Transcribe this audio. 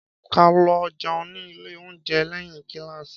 Ká lõ jeun ní ìlé ounjé lèhín kílássí